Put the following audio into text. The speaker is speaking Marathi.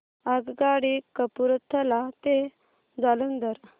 आगगाडी कपूरथला ते जालंधर